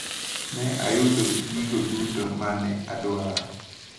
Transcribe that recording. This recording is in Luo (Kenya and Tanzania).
Ne ayudo gigo duto mane adwaro.